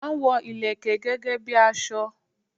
A n wo Ìlẹ̀kẹ̀ gẹ́gẹ́ bi aso